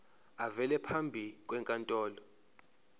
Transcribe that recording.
avele phambi kwenkantolo